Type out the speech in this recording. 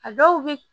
A dɔw bi